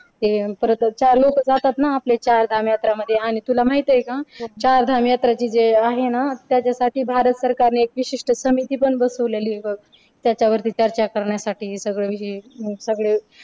परत चालू जातात ना आपले चारधाम यात्रा मध्ये आणि तुला माहिती आहे का चार धाम यात्राची जे आहे ना त्याच्यासाठी भारत सरकारने एक विशिष्ट समिती पण बसवलेली आहे बघ त्याच्या वरती चर्चा करण्यासाठी हे सगळं हे